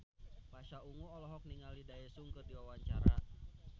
Pasha Ungu olohok ningali Daesung keur diwawancara